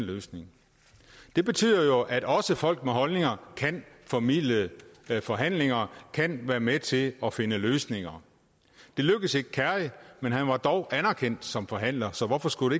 løsning det betyder jo at også folk med holdninger kan formidle forhandlinger kan være med til at finde løsninger det lykkedes ikke kerry men han var dog anerkendt som forhandler så hvorfor skulle